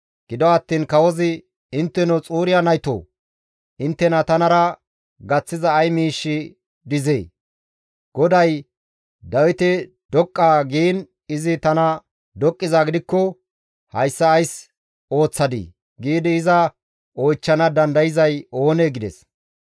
Gido attiin kawozi, «Intteno Xuriya naytoo! Inttena tanara gaththiza ay miish dizee? GODAY, ‹Dawite doqqa› giin izi tana doqqizaa gidikko, ‹Hayssa ays ooththadii?› giidi iza oychchana dandayzay oonee?» gides.